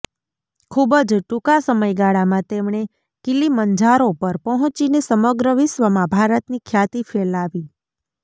ખૂબ જ ટૂંકા સમયગાળામાં તેમણે કિલીમંજારો પર પહોંચીને સમગ્ર વિશ્વમાં ભારતની ખ્યાતિ ફેલાવી